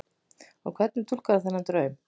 Og hvernig túlkarðu þennan draum?